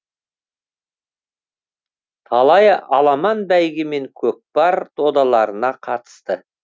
талай аламан бәйге мен көкпар додаларына қатысты